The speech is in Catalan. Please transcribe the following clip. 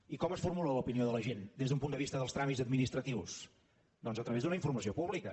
i com es formula l’opinió de la gent des d’un punt de vista dels tràmits administratius doncs a través d’una informació pública